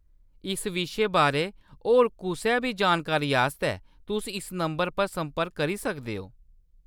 इस विशे बारै होर कुसै बी जानकारी आस्तै तुस इस नंबर पर संपर्क करी सकदे ओ।